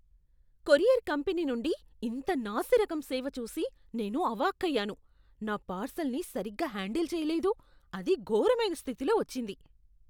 Courier company నుండి ఇంత నాసిరకం సేవ చూసి నేను అవాక్కయ్యాను. నా పార్సల్ని సరిగ్గా హ్యాండల్ చెయ్యలేదు, అది ఘోరమైన స్థితిలో వచ్చింది.